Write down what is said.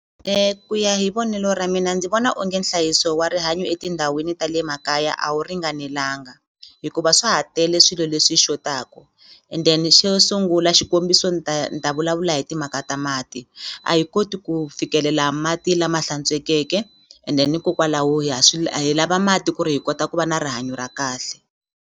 Ku ya hi vonelo ra mina ndzi vona onge nhlayiso wa rihanyo etindhawini ta le makaya a wu ringanelanga hikuva swa ha tele swilo leswi xotaku and then xo sungula xikombiso ni ta ni ta vulavula hi timhaka ta mati a hi koti ku fikelela mati lama hlantswekeke ende hikokwalaho ha swi hi mati ku ri hi kota ku va na rihanyo ra kahle.